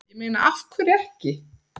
Ég meina af hverju ekki?